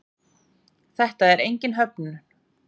Þetta er engin höfnun.